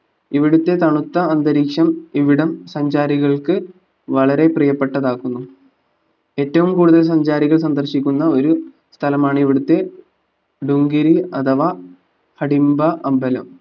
ഇവിടുത്തെ തണുത്ത അന്തരീക്ഷം ഇവിടം സഞ്ചാരികൾക്ക് വളരെ പ്രിയപ്പെട്ടതാക്കുന്നു ഏറ്റവും കൂടുതൽ സഞ്ചാരികൾ സന്ദർശിക്കുന്ന ഒരു സ്ഥലമാണ് ഇവിടുത്തെ ദുംകേരി അഥവാ കടിംബ അമ്പലം